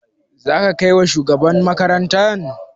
Za ka kai wa shugaban makaranta?